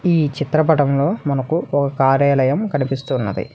ఈ చిత్రపటంలో మనకు ఓ కార్యాలయం కనిపిస్తూ ఉన్నది.